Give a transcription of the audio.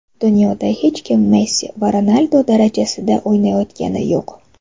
Dunyoda hech kim Messi va Ronaldu darajasida o‘ynayotgani yo‘q.